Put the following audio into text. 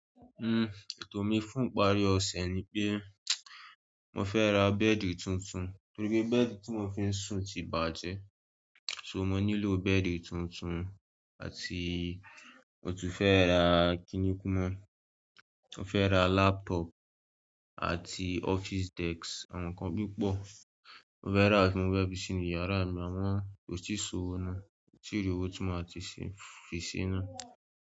Ètò mi fún ìparí ọ̀sẹ̀ ni pé, mo fẹ́ ra bẹ́ẹ̀di tuntun, torí pé bẹ́ẹ̀di tí mo fi ń sùn ti bàjẹ́. So mo nílò bẹ́ẹ̀di tuntun àti mo tún fẹ́ ra kiní kú mọ́, mo fẹ́ ra laptop àti office desk àwọn nǹkan púpọ̀. Mo fẹ́ ra tí mo fẹ́ fi sínú yàrá mi àmọ ko ti sọ̀wọ́ náà, mi ti ri owo tí máa ti fi se náà.